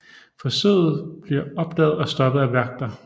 Forsøget blive opdaget og stoppet af vagter